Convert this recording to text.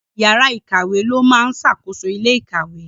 Ọ̀gá yàrá ikawe ló máa ń ṣàkóso ilé ikawe.